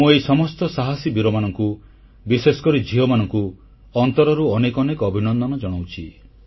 ମୁଁ ଏହି ସମସ୍ତ ସାହସୀ ବୀରମାନଙ୍କୁ ବିଶେଷ କରି ଝିଅମାନଙ୍କୁ ଅନ୍ତରରୁ ଅନେକ ଅନେକ ଅଭିନନ୍ଦନ ଜଣାଉଛି